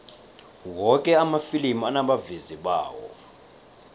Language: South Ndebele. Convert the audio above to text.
woke amafilimi anabavezi bawo